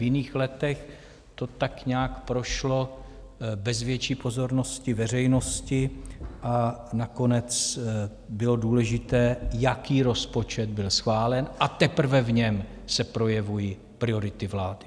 V jiných letech to tak nějak prošlo bez větší pozornosti veřejnosti a nakonec bylo důležité, jaký rozpočet byl schválen, a teprve v něm se projevují priority vlády.